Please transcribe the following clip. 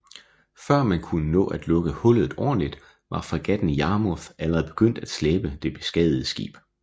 Før man kunne nå at lukke hullet ordentligt var fregatten Yarmouth allerede begyndt at slæbe det beskadigede skib